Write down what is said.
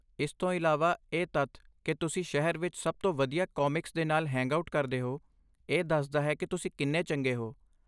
ਇਸ ਤੋਂ ਇਲਾਵਾ, ਇਹ ਤੱਥ ਕਿ ਤੁਸੀਂ ਸ਼ਹਿਰ ਵਿੱਚ ਸਭ ਤੋਂ ਵਧੀਆ ਕਾਮਿਕਸ ਦੇ ਨਾਲ ਹੈਂਗਆਊਟ ਕਰਦੇ ਹੋ, ਇਹ ਦੱਸਦਾ ਹੈ ਕਿ ਤੁਸੀਂ ਕਿੰਨੇ ਚੰਗੇ ਹੋ।